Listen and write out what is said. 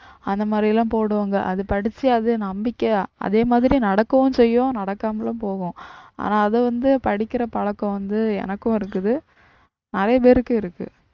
அந்த மாதிரியெல்லாம் போடுவாங்க அத படிச்சி அத நம்பிக்கையா அதே மாதிரி நடக்கவும் செய்யும் நடக்காமலும் போகும் ஆனா அது வந்து படிக்கிற பழக்கம் வந்து எனக்கும் இருக்குது நிறைய பேருக்கு இருக்கு